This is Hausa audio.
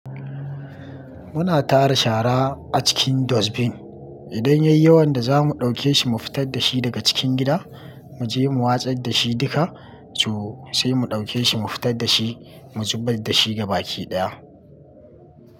Muna tara shara a cikin dustbin. Idan yayi yawan da zamu ɗauke shi mu fitar da shi daga cikin gida, mu je mu watsar da shi duka, so sai mu ɗauke shi mu fitar da shi mu zubar da shi ga baki ɗaya.